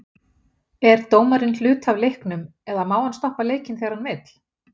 Er dómarinn hluti af leiknum eða má hann stoppa leikinn þegar hann vill?